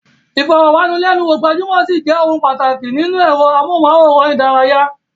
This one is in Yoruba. Ìfọ̀rọ̀wánilẹ́nuwò gbajúmọ̀ ṣì jẹ́ ohun pàtàkì nínú ẹ̀rọ amóhùnmáwòrán ìdárayá.